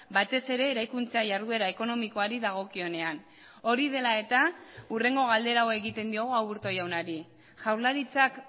batez ere eraikuntza jarduera ekonomikoari dagokionean hori dela eta hurrengo galdera hau egiten diogu aburto jaunari jaurlaritzak